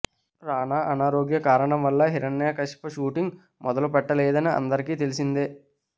రానా అనారోగ్య కారణాల వల్ల హిరణ్యకశిప షూటింగ్ను మొదలుపెట్టలేదని అందరికీ తెలిసిందే